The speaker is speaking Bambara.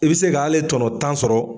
I bɛ se ka hale tɔnɔ tan sɔrɔ